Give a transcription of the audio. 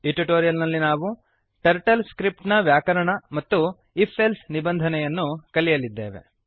ಈ ಟ್ಯುಟೋರಿಯಲ್ ನಲ್ಲಿ ನಾವು ಟರ್ಟಲ್ ಸ್ಕ್ರಿಪ್ಟ್ ಟರ್ಟಲ್ ಸ್ಕ್ರಿಪ್ಟ್ ನ ವ್ಯಾಕರಣ ಮತ್ತು if ಎಲ್ಸೆ ನಿಬಂಧನೆಯನ್ನು ಕಲಿಯಲಿದ್ದೇವೆ